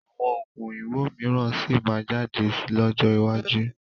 Àwọn Oògùn òyìnbó mìíràn síí má jáde lọ́jọ́ iwájú